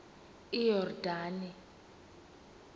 iyordane